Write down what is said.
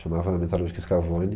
Chamava a metalúrgica Scavone.